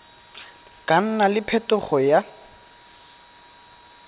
ka nna le phetogo ya